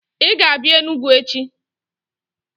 Ị ga-abịa Enugwu echi!